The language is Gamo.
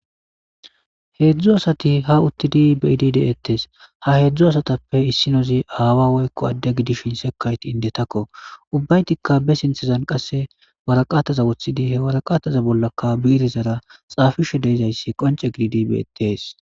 Heedzdzu asati hauttidi bydi deettes haheedzdzu asatappe issinozi aawa woykko adda gidishin sekayti indetakko ubbaytikka besintezan qasse waraqataza wuththidi hewaraqataza bollaka biirizara xaafishe deezayssi qonce giidibeetes.